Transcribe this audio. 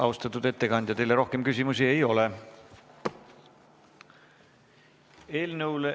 Austatud ettekandja, teile rohkem küsimusi ei ole.